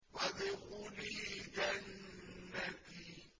وَادْخُلِي جَنَّتِي